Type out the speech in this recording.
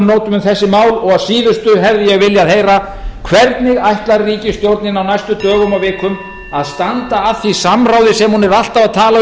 nótum um þessi mál og að síðustu hefði ég viljað heyra hvernig ætlar ríkisstjórnin á næstu dögum og vikum að standa að því samráði sem hún er alltaf að tala